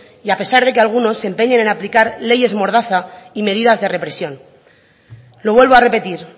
y a pesar de que algunos se empeñen en aplicar leyes mordaza y medidas de represión lo vuelvo a repetir